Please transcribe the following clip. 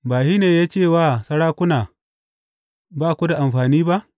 Ba shi ne ya ce wa sarakuna, Ba ku da amfani ba,’